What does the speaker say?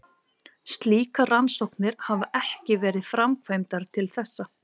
Slíkar rannsóknir hafa ekki verið framkvæmdar til þessa.